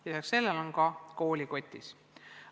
Lisaks sellele on koolikotis õpikud.